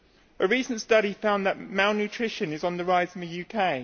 A recent study found that malnutrition is on the rise in the UK.